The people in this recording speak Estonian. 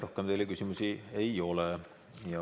Rohkem teile küsimusi ei ole.